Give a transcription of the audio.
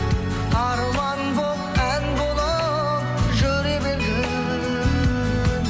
арман болып ән болып жүре бергің